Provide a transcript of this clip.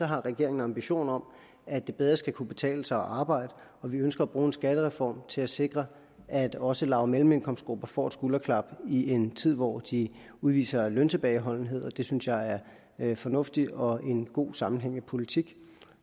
har regeringen ambitioner om at det bedre skal kunne betale sig at arbejde og vi ønsker at bruge en skattereform til at sikre at også lav og mellemindkomstgrupperne får et skulderklap i en tid hvor de udviser løntilbageholdenhed og det synes jeg er en fornuftig og god og sammenhængende politik